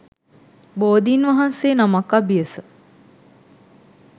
බෝධීන් වහන්සේ නමක් අභියස